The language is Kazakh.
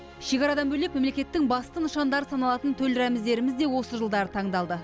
шекарадан бөлек мемлекеттің басты нышандары саналатын төл рәміздеріміз де осы жылдары таңдалды